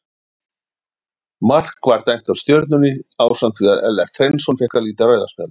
Mark var dæmt af Stjörnunni ásamt því að Ellert Hreinsson fékk að líta rauða spjaldið.